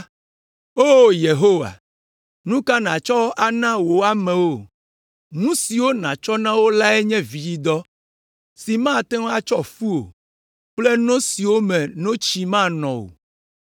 O Yehowa, nu ka nàtsɔ ana wò amewo? Nu siwo nàtsɔ na wo lae nye vidzidɔ si mate ŋu atsɔ fu o kple no siwo me notsi manɔ o.